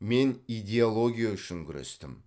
мен идеология үшін күрестім